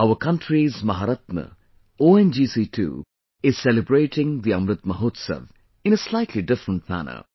Our country's Maharatna, ONGC too is celebrating the Amrit Mahotsav in a slightly different manner